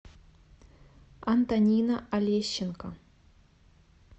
антонина олещенко